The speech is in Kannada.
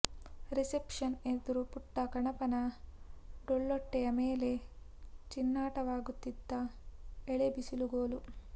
ರಿಸೆಪ್ಷನ್ ಎದುರು ಪುಟ್ಟ ಗಣಪನ ಡೊಳ್ಳೊಟ್ಟೆಯ ಮೇಲೆ ಚಿಣ್ಣಾಟವಾಡುತ್ತಿದ್ದ ಎಳೇ ಬಿಸಿಲುಕೊಲು